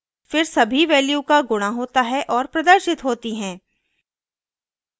फिर सभी values का गुणा होता है और प्रदर्शित होती हैं